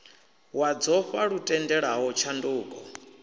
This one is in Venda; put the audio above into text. wa dzofha lu tendelaho tshanduko